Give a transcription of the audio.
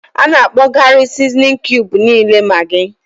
A na-akpọkarị sizinin kiubu niile Magị.